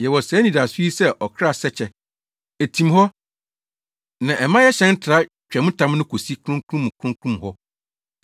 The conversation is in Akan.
Yɛwɔ saa anidaso yi sɛ ɔkra sɛkyɛ. Etim hɔ, na ɛma yɛhyɛn tra ntwamtam no kosi Kronkron mu Kronkron hɔ.